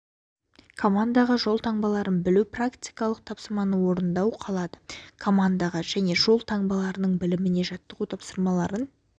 командаға жол таңбаларын білу практикалық тапсырмасын орындау қалады командаға және жол таңбаларының біліміне жаттығу тапсырмасын